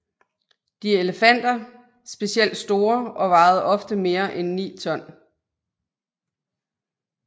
De elefanter specielt store og vejede ofte mere end ni ton